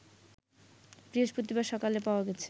বৃহস্পতিবার সকালে পাওয়া গেছে